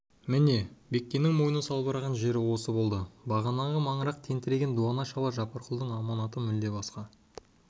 міне бектеннің мойны салбыраған жер осы болды бағанағы маңырақтың тентіреген дуана шалы жапарқұлдың аманаты мүлде басқа